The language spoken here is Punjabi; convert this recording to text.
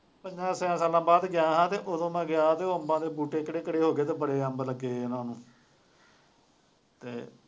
ਪੰਜਾਂ ਛੇਆਂ ਸਾਲਾਂ ਬਾਅਦ ਗਿਆ ਹਾਲੇ ਉਦੋਂ ਮੈਂ ਗਿਆ ਸੀ, ਉਹ ਅੰਬਾਂ ਦੇ ਬੂਟੇ ਕਿੱਡੇ ਕਿੱਡੇ ਹੋ ਗਏ ਅਤੇ ਬੜੇ ਅੰਬ ਲੱਗੇ ਉਹਨਾ ਨੂੰ, ਅਤੇ